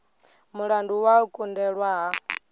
mulandu wa u kundelwa ha